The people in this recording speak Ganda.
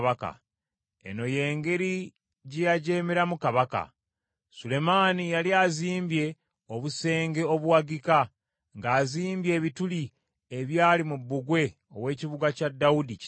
Eno y’engeri gye yajeemeramu kabaka: Sulemaani yali azimbye obusenge obuwagika, ng’azibye ebituli ebyali mu bbugwe ow’ekibuga kya Dawudi kitaawe.